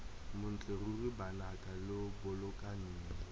montle ruri banaka lo bolokaneng